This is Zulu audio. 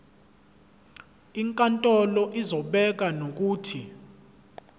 inkantolo izobeka nokuthi